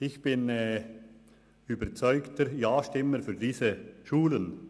Ich bin ein überzeugter Ja-Stimmer für diese Schulen.